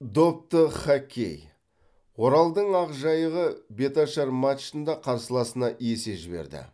допты хоккей оралдың ақжайығы беташар матчында қарсыласына есе жіберді